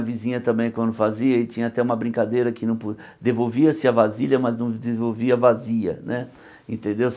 A vizinha também, quando fazia, e tinha até uma brincadeira que não po... Devolvia-se a vasilha, mas não devolvia vazia né, entendeu?